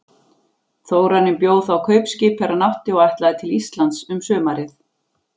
Þórarinn bjó þá kaupskip er hann átti og ætlaði til Íslands um sumarið.